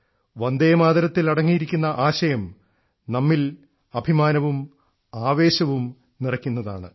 വന്ദേമാതരത്തിൽ അടങ്ങിയിരിക്കുന്ന ആശയം നമ്മിൽ അഭിമാനവും ആവേശവും നിറയ്ക്കുന്നതാണ്